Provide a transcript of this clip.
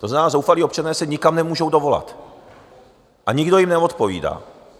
To znamená, zoufalí občané se nikam nemůžou dovolat a nikdo jim neodpovídá.